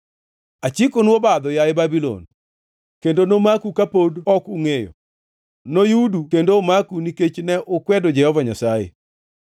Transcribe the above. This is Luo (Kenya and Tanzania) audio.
Achikonu obadho, yaye Babulon, kendo nomaku kapod ok ungʼeyo; noyudu kendo omaku nikech ne ukwedo Jehova Nyasaye.